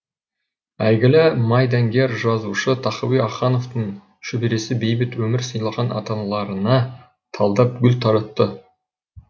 әйгілі майдангер жазушы тахауи ахтановтың шөбересі бейбіт өмір сыйлаған аталарына талдап гүл таратты